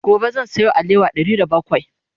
gobe zan Sayo alewa Ɗari da bakwai